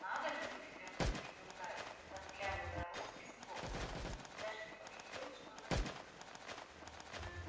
надо же удивлённо заметил гарри разглядывая роспись локонса даже не поглядел что за книга